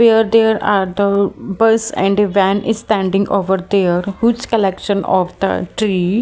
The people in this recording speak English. Where there are the bus and a van is standing over there which collection of the tree.